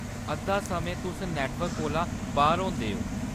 अद्धा समें, तुस नेटवर्क कोला बाह्‌‌र होंदे ओ।